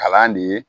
Kalan de ye